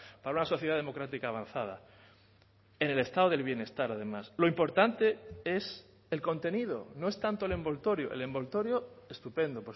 para una sociedad democrática avanzada en el estado del bienestar además lo importante es el contenido no es tanto el envoltorio el envoltorio estupendo